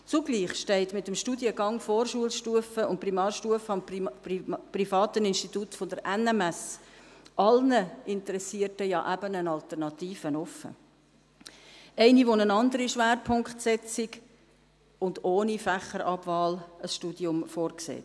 Zugleich steht mit dem Studiengang Vorschulstufe und Primarstufe am privaten Institut der NMS allen Interessierten ja eben eine Alternative offen: eine, die eine andere Schwerpunktsetzung und ein Studium ohne Fächerabwahl vorsieht.